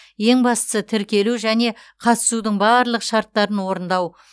ең бастысы тіркелу және қатысудың барлық шарттарын орындау